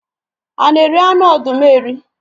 A na eri anụ ọdụm eri?